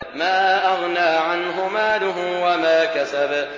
مَا أَغْنَىٰ عَنْهُ مَالُهُ وَمَا كَسَبَ